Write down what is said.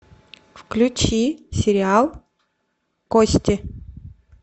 включи сериал кости